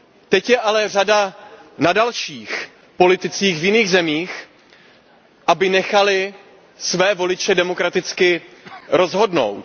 Teď je ale řada na dalších politicích v jiných zemích, aby nechali své voliče demokraticky rozhodnout.